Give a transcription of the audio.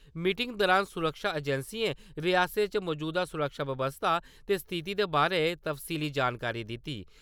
Meeting दरान सुरक्षा एजेंसिएं रिआसतै च मजूदा सुरक्षा बवस्था ते स्थिति दे बारे तफसीली जानकारी दित्ती ।